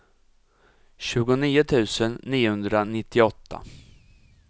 tjugonio tusen niohundranittioåtta